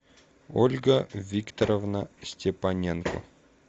ольга викторовна степаненко